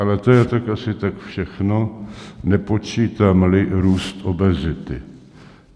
Ale to je asi tak všechno, nepočítám-li růst obezity.